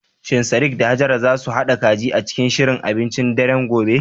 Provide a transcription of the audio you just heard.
Shin Sadiq da Hajara za su haɗa kaji a cikin shirin abincin daren gobe?